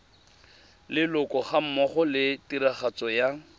leloko gammogo le tiragatso ya